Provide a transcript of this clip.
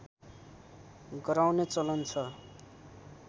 गराउने चलन छ